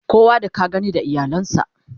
kowa da ka gani da iyalan sa